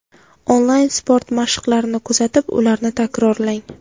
Onlayn sport mashqlarini kuzatib, ularni takrorlang.